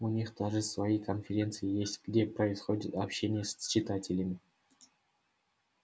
у них даже свои конференции есть где происходит общение с читателями